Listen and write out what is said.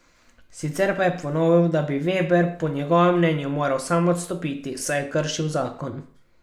Sicer pa je ponovil, da bi Veber po njegovem mnenju moral sam odstopiti, saj je kršil zakon.